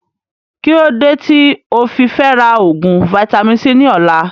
Kílódé tí ofi Fẹra oògùn vitamin-c ni ọ̀la